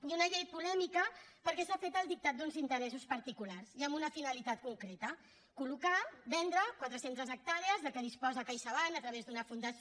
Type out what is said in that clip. i una llei polèmica perquè s’ha fet al dictat d’uns interessos particulars i amb una finalitat concreta collocar vendre quatre centes hectàrees de què disposa caixabank a través d’una fundació